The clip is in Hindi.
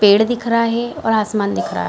पेड़ दिख रहा है और आसमान दिख रहा है ।